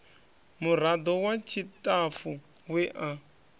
murado wa tshitafu we a